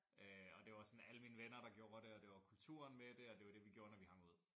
Øh og det var sådan alle mine venner der gjorde det og det var kulturen med det og det var det vi gjorde når vi hang ud